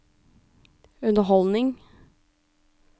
underholdning